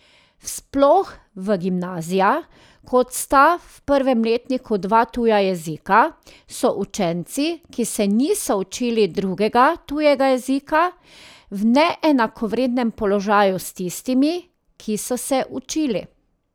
Sploh v gimnazijah, ko sta v prvem letniku dva tuja jezika, so učenci, ki se niso učili drugega tujega jezika, v neenakovrednem položaju s tistimi, ki so se učili.